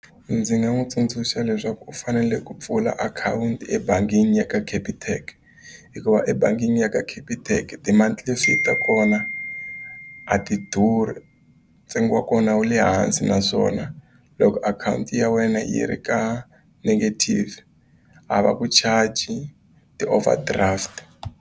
Ndzi nga n'wi tsundzuxa leswaku u fanele ku pfula akhawunti ebangini ya ka Capitec hikuva ebangini ya ka Capitec ta kona a ti durhi ntsengo wa kona wu le hansi naswona loko akhawunti ya wena yi ri ka negative a va vu charge ti-overdraft.